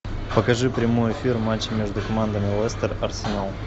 покажи прямой эфир матча между командами лестер арсенал